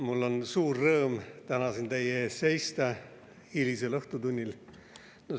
Mul on suur rõõm täna siin teie ees hilisel õhtutunnil seista.